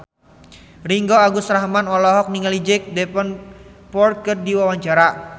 Ringgo Agus Rahman olohok ningali Jack Davenport keur diwawancara